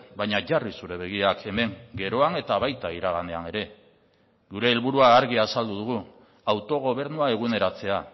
baina jarri zure begiak hemen geroan eta baita iraganean ere gure helburua argi azaldu dugu autogobernua eguneratzea